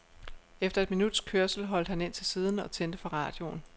Efter et minuts kørsel holdt han ind til siden og tændte for radioen.